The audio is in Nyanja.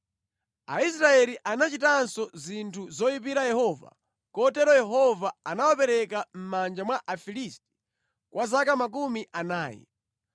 Aisraeli anachitanso zinthu zoyipira Yehova, kotero Yehova anawapereka mʼmanja mwa Afilisti kwa zaka makumi anayi.